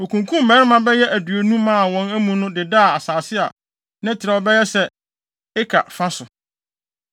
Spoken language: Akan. Wokunkum mmarima bɛyɛ aduonu maa wɔn amu no dedaa asase a ne trɛw bɛyɛ sɛ eka fa so.